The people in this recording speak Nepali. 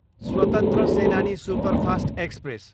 स्वतन्त्र सेनानी सुपरफास्ट एक्सप्रेस